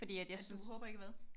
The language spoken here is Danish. At du håber ikke hvad?